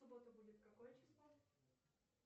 в субботу будет какое число